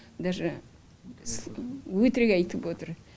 даже өтірік айтып отыр